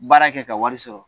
Baara kɛ ka wari sɔrɔ.